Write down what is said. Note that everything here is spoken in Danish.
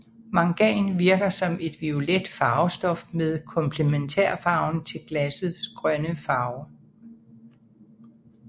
Mangan virker som et violet farvestof med komplementærfarven til glassets grønne farve